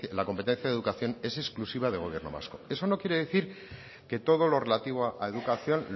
la competencia de educación es exclusiva del gobierno vasco eso no quiere decir que todo lo relativo a educación